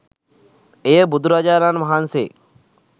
එය බුදුරජාණන් වහන්සේ